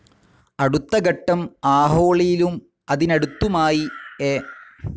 അടുത്തഘട്ടം അഹോളിയിലും അതിനടുത്തുമായി എ.